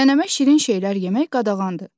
Nənəmə şirin şeylər yemək qadağandır.